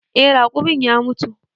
Eh, raƙumin ya mutu.